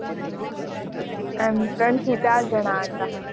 આમ ત્રણ થી ચાર જણાં હતાં.